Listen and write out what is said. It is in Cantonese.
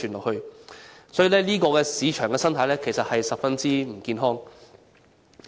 因此，這種市場生態其實是十分不健康的。